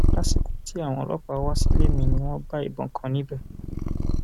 lásìkò tí àwọn ọlọpàá wá sílé mi ni wọn bá ìbọn kan níbẹ